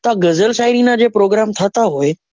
તો આ ગઝલ શાયરી નાં જે program થતા હોય.